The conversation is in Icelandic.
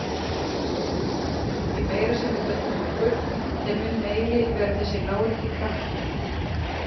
því meira sem við höllum okkur þeim mun meiri verður þessi lárétti kraftur